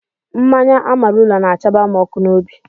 Mmanya ámáụla na-àchaba m ọkụ n'obi